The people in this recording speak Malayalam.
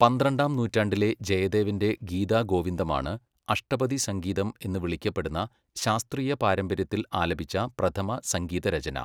പന്ത്രണ്ടാം നൂറ്റാണ്ടിലെ ജയദേവൻ്റെ ഗീതഗോവിന്ദമാണ് അഷ്ടപദി സംഗീതം എന്ന് വിളിക്കപ്പെടുന്ന ശാസ്ത്രീയ പാരമ്പര്യത്തിൽ ആലപിച്ച പ്രഥമ സംഗീതരചന.